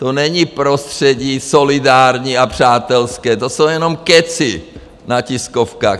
To není prostředí solidární a přátelské, to jsou jenom kecy na tiskovkách.